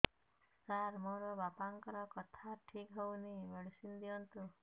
ସାର ମୋର ବାପାଙ୍କର କଥା ଠିକ ହଉନି ମେଡିସିନ ଦିଅନ୍ତୁ